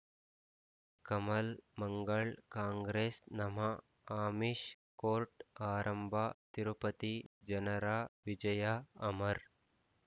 ಕಮಲ್ ಮಂಗಳ್ ಕಾಂಗ್ರೆಸ್ ನಮ ಆಮಿಷ್ ಕೋರ್ಟ್ ಆರಂಭ ತಿರುಪತಿ ಜನರ ವಿಜಯ ಅಮರ್